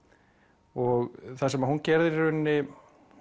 og það sem hún gerir í rauninni